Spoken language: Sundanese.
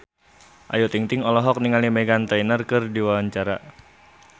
Ayu Ting-ting olohok ningali Meghan Trainor keur diwawancara